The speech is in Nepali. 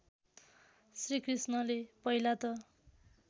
श्रीकृष्णले पहिला त